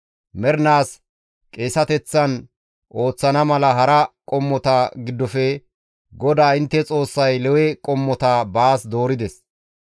Mernaas qeeseteththan ooththana mala hara qommota giddofe GODAA intte Xoossay Lewe qommota baas doorides.